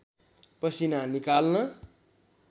पसिना निकाल्न